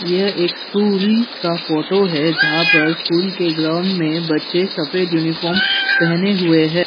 यह एक स्कूल का फोटो है जहां पर स्कूल के ग्राउंड मे बच्चे सफेद यूनिफॉर्म पहने हुए है।